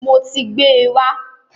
Mo ti gbẹ́ wá.